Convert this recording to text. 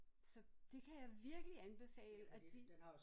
Så det kan jeg virkelig anbefale at de